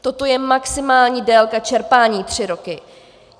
Toto je maximální délka čerpání - tři roky.